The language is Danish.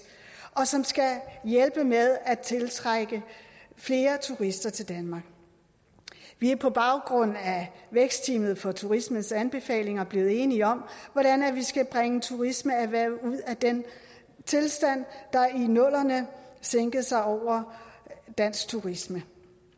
og som skal hjælpe med at tiltrække flere turister til danmark vi er på baggrund af vækstteamet for turismes anbefalinger blevet enige om hvordan vi skal bringe turismeerhvervet ud af den tilstand der i nullerne sænkede sig over dansk turisme